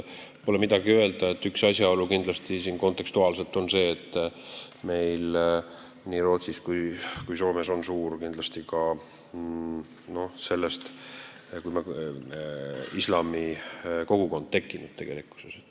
Pole midagi öelda, üks kontekstuaalne asjaolu on siin see, et nii Rootsis kui Soomes on tegelikult suur islamikogukond tekkinud.